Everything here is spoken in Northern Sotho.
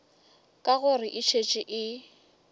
ka gore e šetše e